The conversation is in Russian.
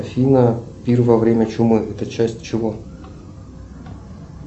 афина пир во время чумы это часть чего